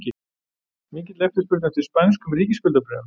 Mikil eftirspurn eftir spænskum ríkisskuldabréfum